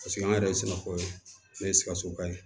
Paseke an yɛrɛ ye sinafɔ ne ye sikasoba ye